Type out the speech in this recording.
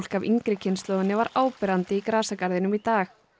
af yngri kynslóðinni var áberandi í grasagarðinum í dag